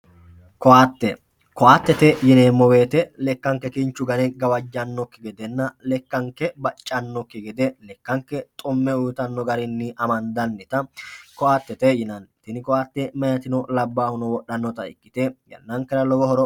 koaatte koaattete yineemmo woyte lekkakke kinchu gane gawajjaannokki gedenna lekkanke baccannokki gede lekkakke xu'me uytanno garinni amandannota koaattete yinanni, tini koaatte meyatino labbaahuno wodhannota ikkite yannankera lowo horo.